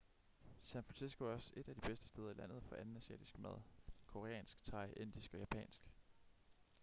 san francisco er også et af de bedste steder i landet for anden asiatisk mad koreansk thai indisk og japansk